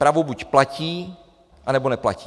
Právo buď platí, anebo neplatí.